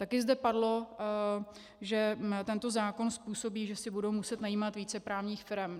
Taky zde padlo, že tento zákon způsobí, že si budou muset najímat více právních firem.